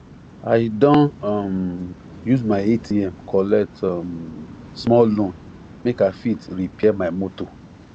i don um use my atm collect um small loan make i fit repair my motor